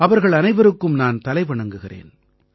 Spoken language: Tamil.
அவர்கள் அனைவருக்கும் நான் தலைவணங்குகிறேன்